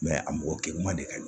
a mɔgɔ kɛ man di ka